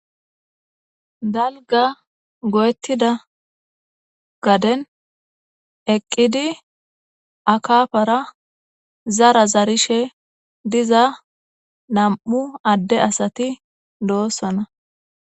Dalga goyettida gaden eqqidi na7u addeti zara zarizayssa bessees.